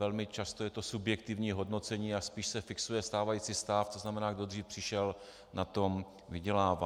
Velmi často je to subjektivní hodnocení a spíše se fixuje stávající stav, to znamená, kdo dřív přišel, na tom vydělává.